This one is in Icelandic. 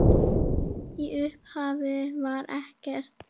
Í upphafi var ekkert.